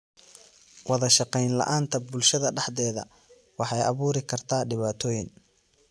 Wadashaqeyn la'aanta bulshada dhexdeeda waxay abuuri kartaa dhibaatooyin.